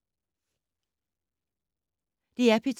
DR P2